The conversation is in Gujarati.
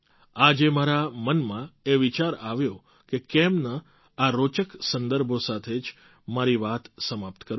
આજે મારા મનમાં એ વિચાર આવ્યો કે કેમ ન આ રોચક સંદર્ભો સાથે જ મારી વાત સમાપ્ત કરું